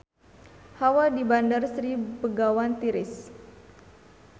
Hawa di Bandar Sri Begawan tiris